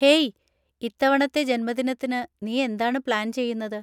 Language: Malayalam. ഹേയ്, ഇത്തവണത്തെ ജന്മദിനത്തിന് നീ എന്താണ് പ്ലാൻ ചെയ്യുന്നത്?